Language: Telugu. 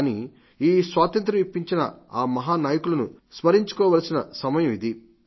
కానీ ఈ స్వాతంత్ర్య ఇప్పించిన ఆ మహానాయకులను సంస్మరించుకోవలసిన సమయం ఇది